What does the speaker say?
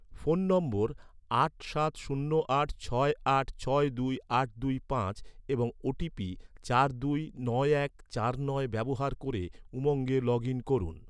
phone নম্বর আট সাত শূন্য আট ছয় আট ছয় দুই আট দুই পাঁচ এবং ওটিপি চার দুই নয় এক চার নয় ব্যবহার ক’রে, উমঙ্গে লগ ইন করুন